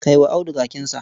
Kai wa Audu kakinsa.